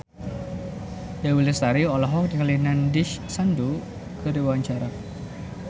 Dewi Lestari olohok ningali Nandish Sandhu keur diwawancara